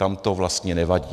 Tam to vlastně nevadí.